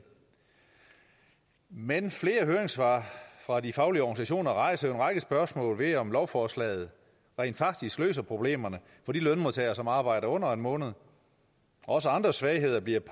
men flere høringssvar fra de faglige organisationer rejser jo en række spørgsmål ved om lovforslaget rent faktisk løser problemerne for de lønmodtagere som arbejder under en måned også andre svagheder bliver